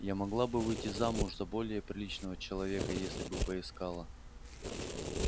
я могла бы выйти замуж за более приличного человека если бы поискала